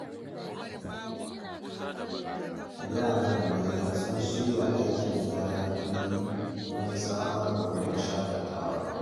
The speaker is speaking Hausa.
Yara da manya sun shirya aikin gyaran fili don samar da wurin shakatawa.